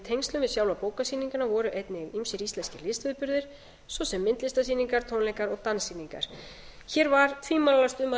tengslum við sjálfa bókasýninguna voru einnig ýmsir íslenskir listviðburðir svo sem myndlistarsýningar tónleikar og danssýningar hér var tvímælalaust um að